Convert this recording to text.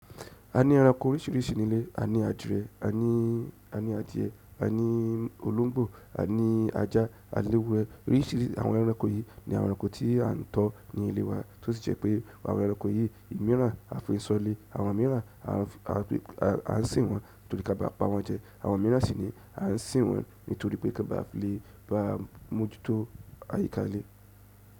A ní ẹranko oríṣiríṣi ní ilé. A ní adìrẹ, a ní adìẹ, a ní olóńgbò, a ní ajá, a ní ewúrẹ́. Oríṣìíríṣìí àwọn ẹranko yìí ni àwọn ẹranko tí a ń tọ́ ní ilé wa, tó sì jẹ́ pé àwọn ẹranko yìí ìmiiran a fi n sọ ilé. Àwọn miran a n sin won torí ka ba pawon jẹ. Àwọn miran sì ni à ń sìn wọn nítorí pé kan bà fi lè bá wa mojuto àyíká ile.